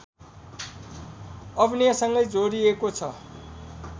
अभिनयसँगै जोडिएको छ